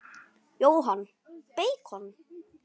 Jóhann: Beikon?